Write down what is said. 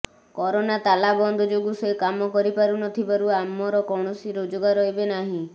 corona ତାଲାବନ୍ଦ ଯୋଗୁଁ ସେ କାମ କରିନପାରୁଥିବାରୁ ଆମର କୌଣସି ରୋଜଗାର ଏବେ ନାହିଁ